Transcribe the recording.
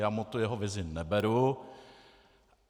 Já mu tu jeho vizi neberu.